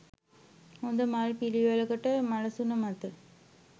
හොඳ මල් පිළිවෙළකට මලසුන මත